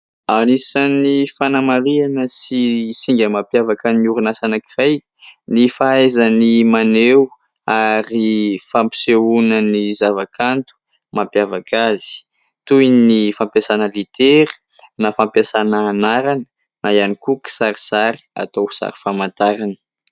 Anisany fanamarihana sy singa mampiavaka ny orinasa anankiray ny fahaizany maneho ary fampisehoana ny zavakanto mampiavaka azy toy ny : fampiasana litera na fampiasana anarana na ihany koa kisarisary atao ho sary famantarana.